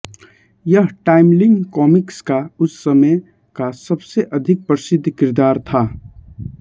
यह Timely Comics का उस समय का सबसे अधिक प्रसिद्ध किरदार था